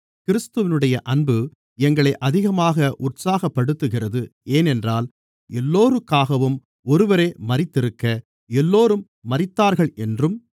கிறிஸ்துவினுடைய அன்பு எங்களை அதிகமாக உற்சாகப்படுத்துகிறது ஏனென்றால் எல்லோருக்காகவும் ஒருவரே மரித்திருக்க எல்லோரும் மரித்தார்கள் என்றும்